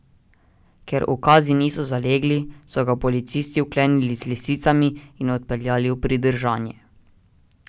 Ker ukazi niso zalegli, so ga policisti vklenili z lisicami in odpeljali v pridržanje.